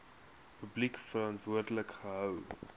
publiek verantwoordelik gehou